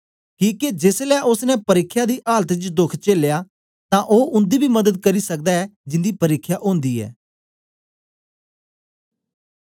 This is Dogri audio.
किके जेसलै ओसने परिख्या दी आलात च दोख चेलया तां ओ उन्दी बी मदद करी सकदा ऐ जिंदी परिख्या ओंदी ऐ